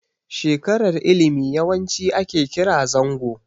Shekarar ilimi yawanci ake kira zango.